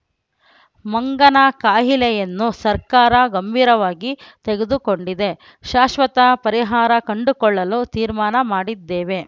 ಮಂಗನ ಕಾಯಿಲೆಯನ್ನು ಸರ್ಕಾರ ಗಂಭೀರವಾಗಿ ತೆಗೆದುಕೊಂಡಿದೆ ಶಾಶ್ವತ ಪರಿಹಾರ ಕಂಡುಕೊಳ್ಳಲು ತೀರ್ಮಾನ ಮಾಡಿದ್ದೇವೆ